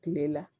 Kile la